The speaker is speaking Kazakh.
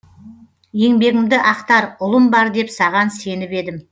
еңбегімді ақтар ұлым бар деп саған сеніп едім